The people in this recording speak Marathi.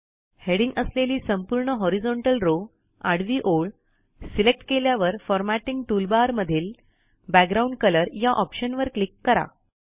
हेडिंग असलेली संपूर्ण हॉरिझोंटल रॉव आडवी ओळ सिलेक्ट केल्यावर फॉरमॅटिंग टूलबारमधील बॅकग्राउंड कलर या ऑप्शनवर क्लिक करा